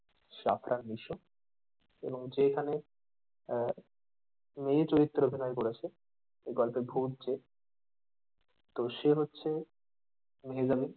সাত নং দৃশ্য এবং যে এখানে আহ মেয়ে চরিত্রে অভিনয় করেছে এই গল্পে ভুত যে তো সে হচ্ছে এলিজাবেথ